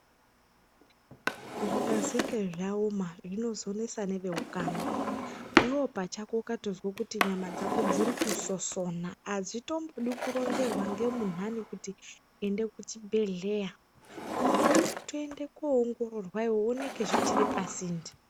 Zvikazinge zvaoma zvinozonesa neveukama iwewe pachako ukatozwe kuti nyama dzako dziri kusosona adzitombodi kuronzerwa ngemunhani kuti ende kuchibhedhleya unofana kutoenda koongororwa iwewe zvioneke zvichiri pasinde.